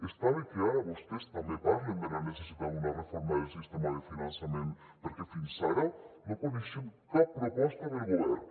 està bé que ara vostès també parlen de la necessitat d’una reforma del sistema de finançament perquè fins ara no coneixem cap proposta del govern